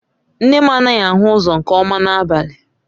Nne m anaghị ahụ ụzọ nke ọma n'abalị